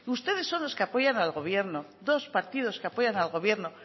ustedes son los que apoyan al gobierno dos partidos que apoyan al gobierno